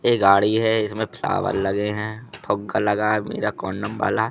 ये गाड़ी है इसमें फ्लावर लगे हैं फुग्गा लगा है मेरा वाला--